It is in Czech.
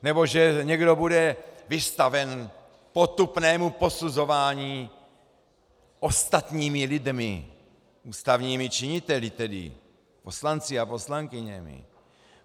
Nebo že někdo bude vystaven potupnému posuzování ostatními lidmi, ústavními činiteli tedy, poslanci a poslankyněmi.